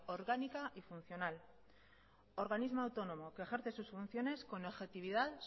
orgánica y funcional organismo autónomo que ejerce sus funciones con objetividad